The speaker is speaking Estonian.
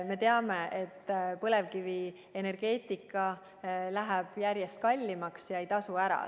Me teame, et põlevkivienergeetika läheb järjest kallimaks ega tasu ära.